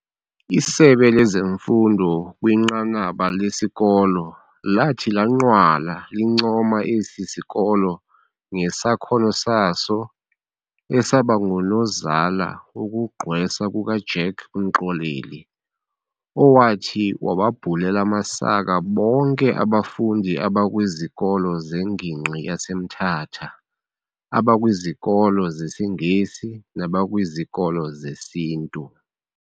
Isebe lezeMfundo kwinqanaba lesikolo lathi lanqwala lincoma esi sikolo ngesakhono saso esabangunozala wokugqwesa kukaJack Mxoleli owathi wababhulelela amasaka bonke abafundi abakwizikolo zengingqi yaseMthatha, abakwizikolo zesiNgesi nabakwizikolo zesiNtu.